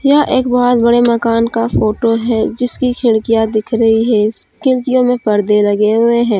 यह एक बहुत बड़े मकान का फोटो है जिसकी खिड़किया दिख रही है खिड़कियों में पर्दे लगे हुए हैं।